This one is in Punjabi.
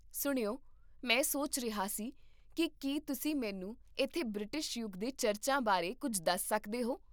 ਸੁਣਿਓ, ਮੈਂ ਸੋਚ ਰਿਹਾ ਸੀ ਕਿ ਕੀ ਤੁਸੀਂ ਮੈਨੂੰ ਇੱਥੇ ਬ੍ਰਿਟਿਸ਼ ਯੁੱਗ ਦੇ ਚਰਚਾਂ ਬਾਰੇ ਕੁੱਝ ਦੱਸ ਸਕਦੇ ਹੋ?